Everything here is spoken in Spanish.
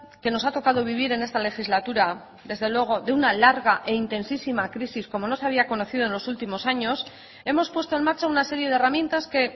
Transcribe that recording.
que nos ha tocado vivir en esta legislatura desde luego de una larga e intensísima crisis como no se había conocido en los últimos años hemos puesto en marcha una serie de herramientas que